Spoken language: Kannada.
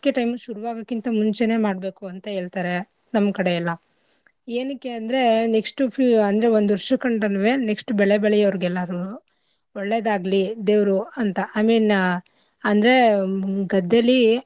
Time ಶುರುವಾಗಕಿಂತ ಮುಂಚೆನೇ ಮಾಡ್ಬೇಕು ಅಂತ ಹೇಳ್ತಾರೆ ನಮ್ಮ್ ಕಡೆ ಎಲ್ಲಾ. ಎನಕ್ಕೆ ಅಂದ್ರೆ next ಉ ಫೂ~ ಅಂದ್ರೆ ಒಂದು ವರ್ಷ ಕಂಡ್ರುನೂವೆ next ಬೆಳೆ ಬೆಳಿಯೋರ್ಗೆಲ್ಲಾರೂ ಒಳ್ಳೇದಾಗ್ಲಿ ದೇವ್ರು ಅಂತ I mean ಅಂದ್ರೆ ಹ್ಮ್ ಗದ್ದೆಲಿ.